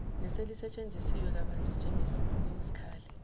neselisetshenziswe kabanzi njengesikhali